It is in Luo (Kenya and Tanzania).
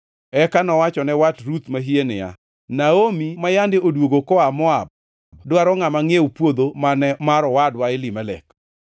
Eka nowachone wat Ruth mahie niya, “Naomi ma yande odwogo koa Moab dwaro ngʼama ngʼiew puodho mane mar owadwa Elimelek.